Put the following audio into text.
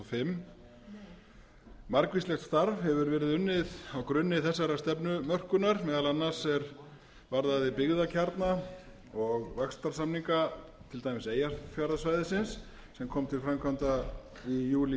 fimm margvíslegt starf hefur verið unnið á grunni þessarar stefnumörkunar meðal annars er varðaði byggðakjarna og vaxtarsamning til dæmis eyjafjarðarsvæðisins sem kom til framkvæmda í júlí tvö